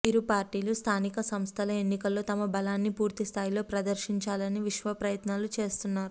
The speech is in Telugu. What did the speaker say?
ఇరు పార్టీలు స్థానిక సంస్థల ఎన్నికల్లో తమ బలాన్ని పూర్తిస్థాయిలో ప్రదర్శించాలని విశ్వప్రయత్నాలు చేస్తున్నారు